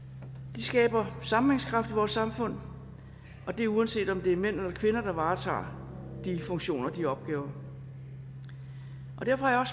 de skaber sammenhængskraft i vores samfund og det er uanset om det er mænd eller kvinder der varetager de funktioner og de opgaver derfor har